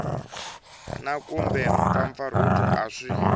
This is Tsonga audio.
na kumbe mpfampfarhuto a swi